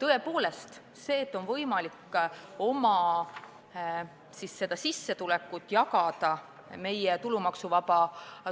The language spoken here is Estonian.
Tõepoolest, see, et on võimalik oma sissetulekut meie tulumaksuvaba